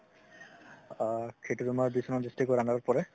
সেইটো তুমাৰ district ৰ under ত পৰে